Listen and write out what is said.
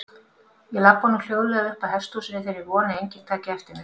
Ég labba nú hljóðlega uppað hesthúsinu í þeirri von að enginn taki eftir mér.